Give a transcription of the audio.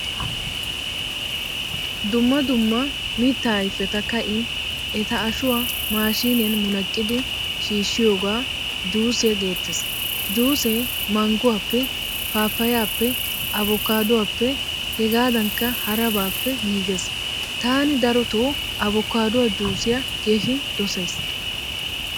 Dumma dumma mitta ayfetta kain etta ashshuwaa mashshiniyan munaqqqidi shiishiyoga juusiyaa geetees. Juusee mangguwappe, pappayappe, avokkaduwaappe hegadankka harabappe giigees. Tani daroto avokkaduwaa juusiyaa keehin dosaysi.